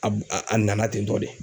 A b a a nana ten tɔ de.